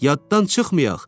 Yaddan çıxmayaq!